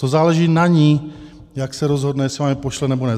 To záleží na ní, jak se rozhodne, jestli vám je pošle, nebo ne.